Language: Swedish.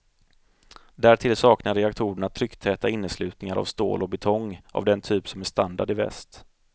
Därtill saknar reaktorerna trycktäta inneslutningar av stål och betong, av den typ som är standard i väst.